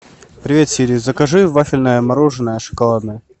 привет сири закажи вафельное мороженое шоколадное